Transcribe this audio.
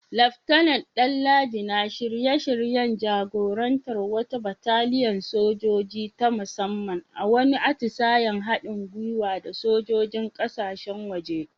Laftanar Danladi na shirye-shiryen jagorantar wata bataliyar sojoji ta musamman a wani atisayen haɗin gwiwa da sojojin kasashen waje.